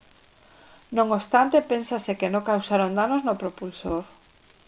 non obstante pénsase que non causaron danos no propulsor